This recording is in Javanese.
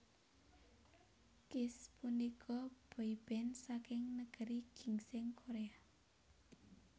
Kiss punika boyband saking Negeri Ginseng Korea